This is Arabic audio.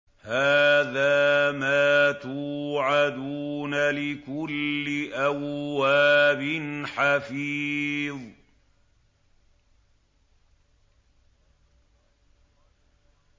هَٰذَا مَا تُوعَدُونَ لِكُلِّ أَوَّابٍ حَفِيظٍ